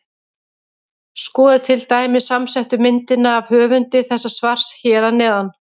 Skoðið til dæmis samsettu myndina af höfundi þessa svars hér fyrir neðan.